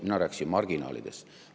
Mina rääkisin marginaalidest.